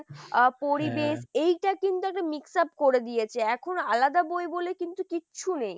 আহ পরিবেশ এইটা কিন্তু একটা mix up করে দিয়েছে এখন আলাদা বই বলে কিন্তু কিচ্ছু নেই।